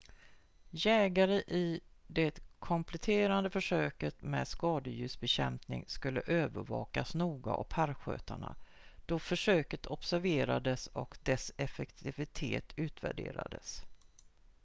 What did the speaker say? jägare i det kompletterande försöket med skadedjursbekämpning skulle övervakas noga av parkskötarna då försöket observerades och dess effektivitet utvärderades